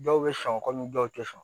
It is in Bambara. Dɔw bɛ sɔn ka ni dɔw tɛ sɔn